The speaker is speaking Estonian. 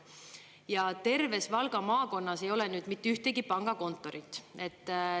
Ja terves Valga maakonnas ei ole nüüd mitte ühtegi pangakontorit.